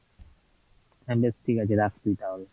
হ্যাঁ বেশ ঠিক আছে রাখ তুই তাহলে।